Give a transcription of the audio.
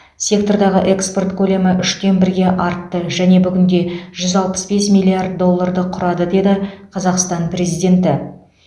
сектордағы экспорт көлемі үштен бірге артты және бүгінде жүз алпыс бес миллиард долларды құрады деді қазақстан президенті